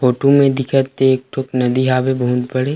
photo में दिखत ते एक ठो नदी हावे बहुत बड़े --